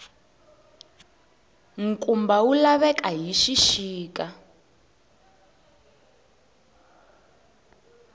nkumba wu laveka hi xixika